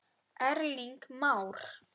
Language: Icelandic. Erling Már.